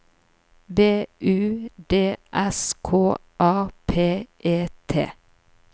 B U D S K A P E T